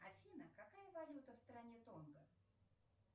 афина какая валюта в стране тонго